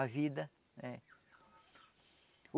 A vida, né?